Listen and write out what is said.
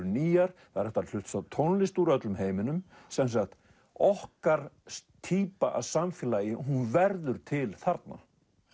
nýjar það er hægt að hlusta á tónlist úr öllum heiminum sem sagt okkar týpa af samfélagi verður til þarna